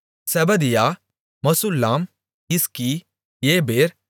செபதியா மெசுல்லாம் இஸ்கி ஏபேர்